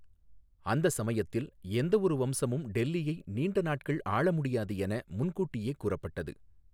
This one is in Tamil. அந்த சமயத்தில் எந்தஒரு வம்சமும் டெல்லியை நீண்ட நாட்கள் ஆள முடியாது என முன்கூட்டியே கூறப்பட்டது.